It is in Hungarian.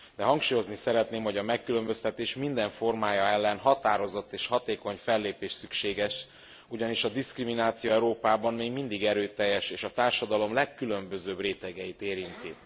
Hangsúlyozni szeretném azonban, hogy a megkülönböztetés minden formája ellen határozott és hatékony fellépés szükséges, ugyanis a diszkrimináció Európában még mindig erőteljes és a társadalom legkülönbözőbb rétegeit érinti.